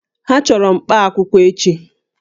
Ha chọrọ mkpaakwụkwọ echi